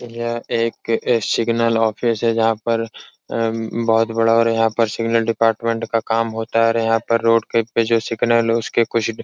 यह एक signal office है जहाँ पर अ बहुत बड़ा और यहाँ पर सिग्नल डिपार्टमेंट का काम होता है और यहाँ पर रोड के जो सिग्नल उसके कुछ --